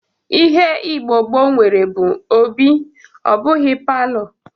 Ihe Igbo gboo nwere bụ obi ọ bụghị palọ